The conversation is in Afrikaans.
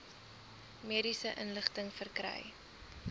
mediese inligting verkry